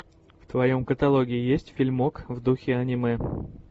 в твоем каталоге есть фильмок в духе аниме